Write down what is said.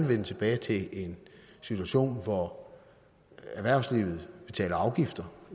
vende tilbage til en situation hvor erhvervslivet betaler afgifter